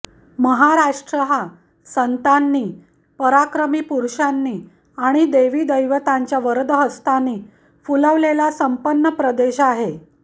महाराष्ट्र हा संतानी पराक्रमी पुरुषांनी आणि देवीदेवतांच्या वरदहस्तानी फुलवलेला संपन्न प्रदेश आहे